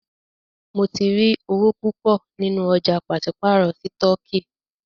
Mó tí rí owó púpọ nínú ọ̀jà pàṣípàrọ̀ sítọ̀kì.